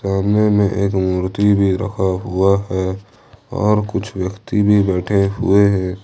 सामने में एक मूर्ति भी रखा हुआ है और कुछ व्यक्ति भी बैठे हुए हैं।